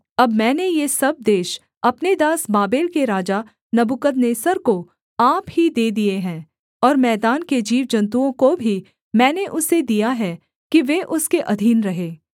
अब मैंने ये सब देश अपने दास बाबेल के राजा नबूकदनेस्सर को आप ही दे दिए हैं और मैदान के जीवजन्तुओं को भी मैंने उसे दिया है कि वे उसके अधीन रहें